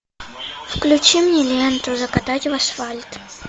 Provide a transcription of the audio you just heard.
включи мне ленту закатать в асфальт